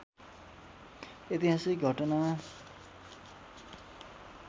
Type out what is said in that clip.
ऐतिहासिक घटना